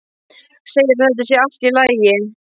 Segir að þetta sé allt í lagi.